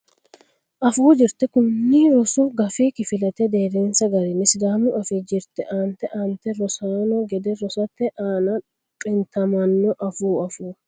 Afuu Jirte Kuni rosu gafi kifilete deerrinsa garinni Sidaamu Afii jirte aante aantete rossanno gede assate aana xintamanno Afuu Afuu.